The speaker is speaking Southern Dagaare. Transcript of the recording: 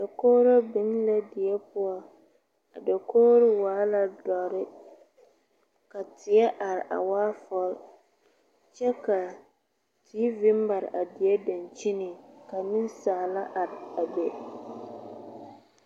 dakogre bin la die poʊ a dakogre waala dɔre ka teɛ are a waa fol kyɛ ka tv maar a die dankyeniŋ ka nesaala are a be